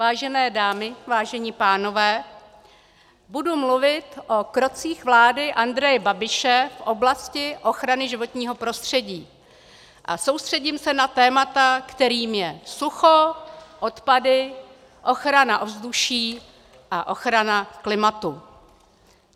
Vážené dámy, vážení pánové, budu mluvit o krocích vlády Andreje Babiše v oblasti ochrany životního prostředí a soustředím se na témata, kterými jsou sucho, odpady, ochrana ovzduší a ochrana klimatu.